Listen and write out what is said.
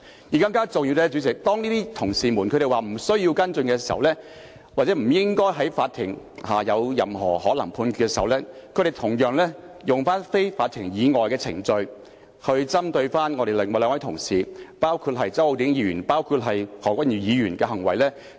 更重要的是，代理主席，當這些同事說無須跟進或不應在法庭可能有任何判決前跟進，他們同樣利用非法庭以外的程序來針對另外兩位同事，即周浩鼎議員和何君堯議員的行為。